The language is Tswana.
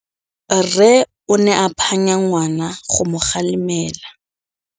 Rre o ne a phanya ngwana go mo galemela.